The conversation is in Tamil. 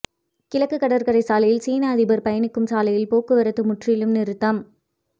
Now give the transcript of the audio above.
கிழக்கு கடற்கரை சாலையில் சீன அதிபர் பயணிக்கும் சாலையில் போக்குவரத்து முற்றிலும் நிறுத்தம்